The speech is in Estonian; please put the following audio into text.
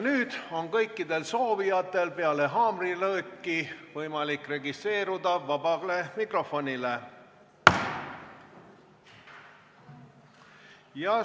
Nüüd on kõikidel soovijatel peale haamrilööki võimalik registreeruda sõnavõtuks vabas mikrofonis!